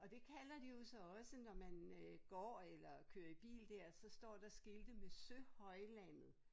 Og det kalder de jo så også når man øh går eller kører bil der så står der skilte med Søhøjlandet